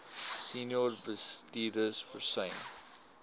senior bestuurders versuim